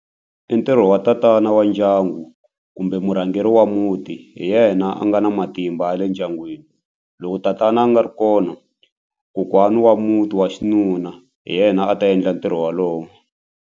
I ntirho wa tatana wa ndyangu kumbe murhangeri wa muti hi yena a nga na matimba ya le ndyangwini loko tatana a nga ri kona kokwana wa muti wa xinuna hi yena a ta endla ntirho wolowo.